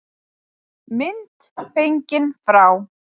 Mynd fengin frá